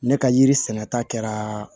Ne ka yiri sɛnɛta kɛra